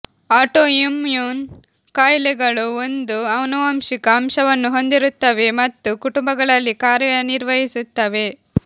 autoimmune ಕಾಯಿಲೆಗಳು ಒಂದು ಆನುವಂಶಿಕ ಅಂಶವನ್ನು ಹೊಂದಿರುತ್ತವೆ ಮತ್ತು ಕುಟುಂಬಗಳಲ್ಲಿ ಕಾರ್ಯನಿರ್ವಹಿಸುತ್ತವೆ